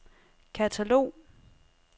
katalog